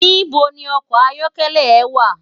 Nibó ni òkò àyòkèlè è wá?